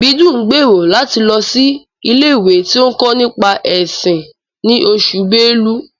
Ìbídùn ń gbèrò láti lọ sí ilé-ìwé tí ń kọ́ nípa ẹ̀sìn ni Oṣù belú